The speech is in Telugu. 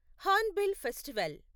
Hornbill festival